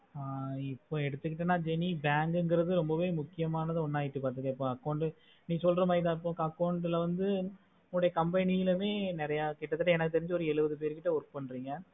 ஆஹ் இப்போ எடுத்துகிட்டானா jeni bank க்குங்குறது ரொம்பவே முக்கியமானது ஒன்னு ஆயிட்டு வருது இப்போ account நீ சொல்லற மாதிரி எல்லாருக்கோம் account ல வந்து உன்னோட company லேயே கிட்டத்தட்ட எனக்கு தெரிஞ்சி எழுவது பேர்கிட்ட work பண்றீங்க